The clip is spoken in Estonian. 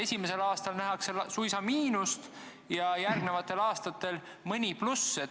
Esimesel aastal nähakse suisa miinust ja järgmistel aastatel mingit plussi.